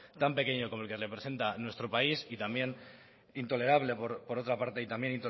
tan pequeño como el que representa nuestro país y también intolerable por otra parte y también